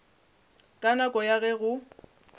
ka nako ya ge go